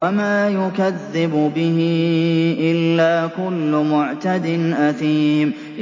وَمَا يُكَذِّبُ بِهِ إِلَّا كُلُّ مُعْتَدٍ أَثِيمٍ